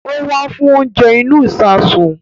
Ó wá fún oúnjẹ inú ìsasùn